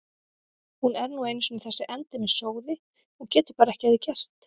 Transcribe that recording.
Hún er nú einu sinni þessi endemis sóði og getur bara ekki að því gert.